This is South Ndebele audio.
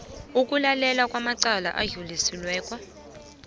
ukulalela amacala adlulisiweko